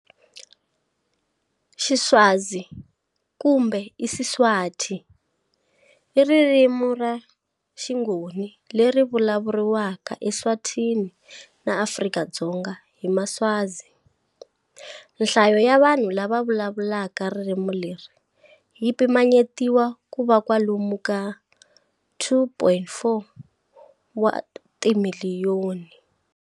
Xiswazi, "kumbe IsiSwati", i ririmi ra xingoni leri vulavuriwaka eEswatini na Afrika-Dzonga hi maswazi. Nhlayo ya vanhu lava vulavulaka ririmi leri yi pimanyetiwa ku va kwalomu ka 2.4 wa timiliyoni.